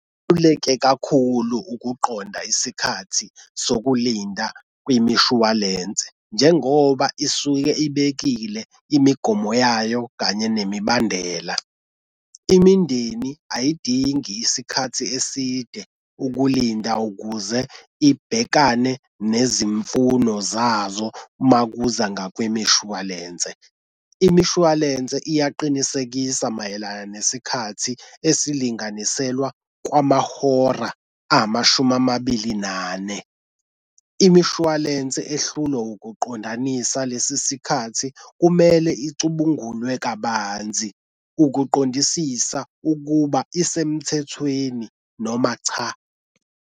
kakhulu ukuqonda isikhathi sokulinda kwimishwalense njengoba isuke ibekile imigomo yayo kanye nemibandela. Imindeni ayidingi isikhathi eside ukulinda ukuze ibhekane nezimfuno zazo uma kuza ngakwimishwalense. Imishwalense iyaqinisekisa mayelana nesikhathi esilinganiselwa kwamahora amashumi amabili nane. Imishwalense ehlulwe ukuqondanisa lesi sikhathi kumele icubungulwe kabanzi ukuqondisisa ukuba isemthethweni noma cha.